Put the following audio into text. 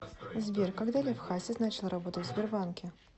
сбер когда лев хасис начал работать в сбербанке